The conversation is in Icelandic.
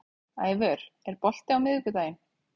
Ævör, er bolti á miðvikudaginn?